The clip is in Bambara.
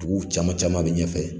Duguw caman caman be ɲɛ fɛ